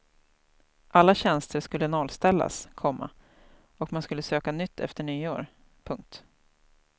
Alla tjänster skulle nollställas, komma och man skulle söka nytt efter nyår. punkt